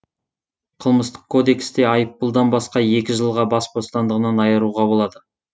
қылмыстық кодексте айыппұлдан басқа екі жылға бас бостандығынан айыруға болады